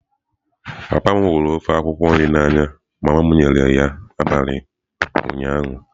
Papa m hụrụ ofe akwukwo nrị a n'anya mama m nyere ya n'abalị ụnyaahụ.